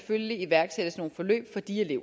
i